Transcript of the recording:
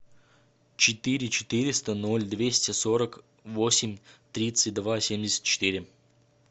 четыре четыреста ноль двести сорок восемь тридцать два семьдесят четыре